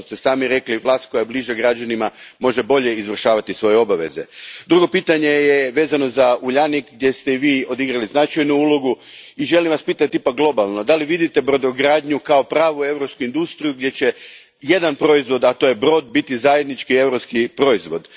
Kao što ste sami rekli, vlast koja je bliža građanima može bolje izvršavati svoje obaveze. Drugo je pitanje vezano za Uljanik, gdje ste i Vi odigrali značajnu ulogu i želim Vas pitati ipak globalno, da li vidite brodogradnju kao pravu europsku industriju gdje će jedan proizvod, a to je brod, biti zajednički europski proizvod?